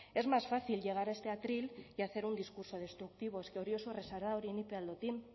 es más fácil llegar a este atril y hacer un discurso destructivo es que hori oso erraza da hori nik be ahal dut egin